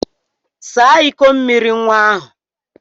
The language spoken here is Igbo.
Saa ịkọ mmiri nwa ahụ!